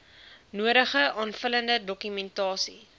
nodige aanvullende dokumentasie